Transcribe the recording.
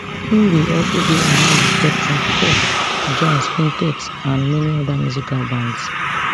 im bin also dey among di spectrum four jazz quintet and many oda musical bands